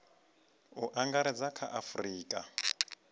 u angaredza kha a afurika